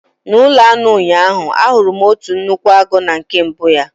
N'ụlọ anụ ụnyaahụ, ahụrụ m otu nnukwu agụ na nke mbụ ya.